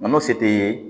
Nɔnɔ se tɛ ye